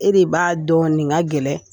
E de b'a dɔn ninga gɛlɛn